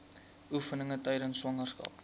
oefeninge tydens swangerskap